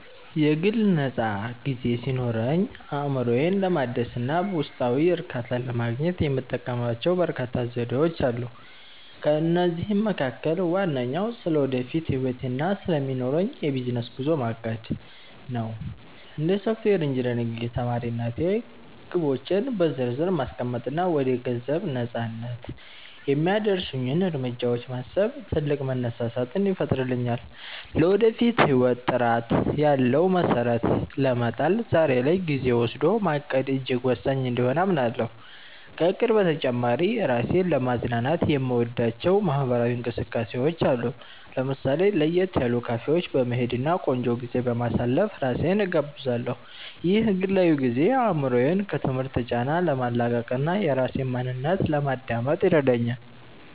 የግል ነፃ ጊዜ ሲኖረኝ፣ አእምሮዬን ለማደስ እና ውስጣዊ እርካታን ለማግኘት የምጠቀምባቸው በርካታ ዘዴዎች አሉ። ከእነዚህም መካከል ዋነኛው ስለ ወደፊት ህይወቴ እና ስለሚኖረኝ የቢዝነስ ጉዞ ማቀድ (Planning) ነው። እንደ ሶፍትዌር ኢንጂነሪንግ ተማሪነቴ፣ ግቦቼን በዝርዝር ማስቀመጥ እና ወደ ገንዘብ ነፃነት (Financial Freedom) የሚያደርሱኝን እርምጃዎች ማሰብ ትልቅ መነሳሳትን ይፈጥርልኛል። ለወደፊት ህይወት ጥራት ያለው መሰረት ለመጣል ዛሬ ላይ ጊዜ ወስዶ ማቀድ እጅግ ወሳኝ እንደሆነ አምናለሁ። ከእቅድ በተጨማሪ፣ ራሴን ለማዝናናት የምወዳቸው ማህበራዊ እንቅስቃሴዎች አሉ። ለምሳሌ፣ ለየት ያሉ ካፌዎች በመሄድ እና ቆንጆ ጊዜ በማሳለፍ ራሴን እጋብዛለሁ። ይህ ግላዊ ጊዜ አእምሮዬን ከትምህርት ጫና ለማላቀቅ እና የራሴን ማንነት ለማዳመጥ ይረዳኛል